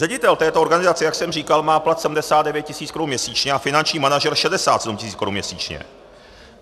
Ředitel této organizace, jak jsem říkal, má plat 79 tisíc korun měsíčně a finanční manažer 67 tisíc korun měsíčně.